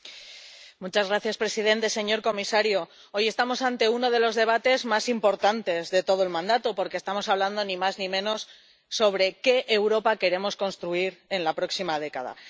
Señor presidente, señor comisario, hoy estamos ante uno de los debates más importantes de todo el mandato, porque estamos hablando, ni más ni menos, de qué Europa queremos construir en la próxima década.